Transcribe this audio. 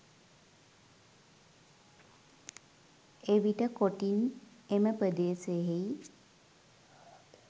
එවිට කොටින් එම පෙදෙසෙහි